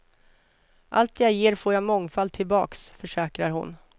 Allt det jag ger får jag mångfalt tillbaks, försäkrar hon.